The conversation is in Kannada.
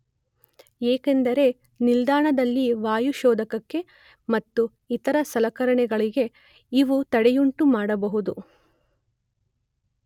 ಏಕೆಂದರೆ ನಿಲ್ದಾಣದ ವಾಯು ಶೋಧಕಕ್ಕೆ ಮತ್ತು ಇತರ ಸಲಕರಣೆಗಳಿಗೆ ಇವು ತಡೆಯುಂಟು ಮಾಡಬಹುದು.